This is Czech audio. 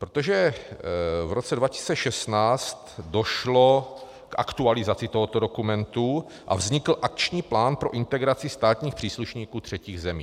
Protože v roce 2016 došlo k aktualizaci tohoto dokumentu a vznikl Akční plán pro integraci státních příslušníků třetích zemí.